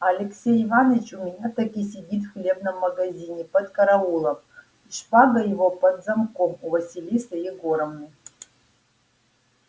а алексей иваныч у меня таки сидит в хлебном магазине под караулом и шпага его под замком у василисы егоровны